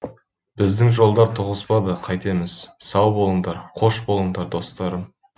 біздің жолдар тоғыспады қайтеміз сау болыңдар қош болыңдар достарым